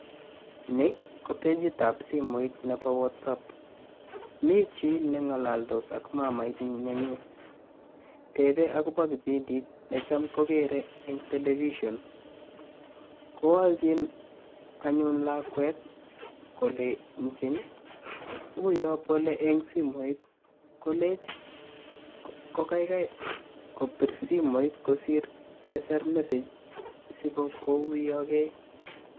Ni ko pejittab simoit nebo whatsapp. Mi chi neng'alados ak mamait nenyin, tebe akobo kipindiit necham kokere eng' television. Kowalchin anyun lakwet kolenchin uyo bole eng simoit kolechi ko kaikai kobir simoit kosir keser message sikokuyoge.